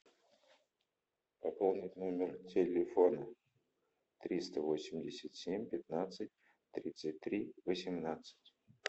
пополнить номер телефона триста восемьдесят семь пятнадцать тридцать три восемнадцать